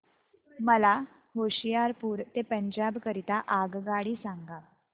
मला होशियारपुर ते पंजाब करीता आगगाडी सांगा